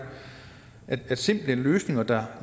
at simple løsninger der